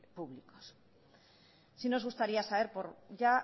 públicos sí nos gustaría saber ya